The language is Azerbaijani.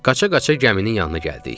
Qaça-qaça gəminin yanına gəldik.